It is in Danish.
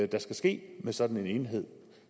der skal ske med sådan en enhed